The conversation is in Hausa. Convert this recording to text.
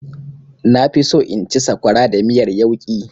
Na fi so in ci sakwara da miyar yauƙi.